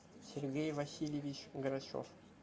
сергей васильевич грачев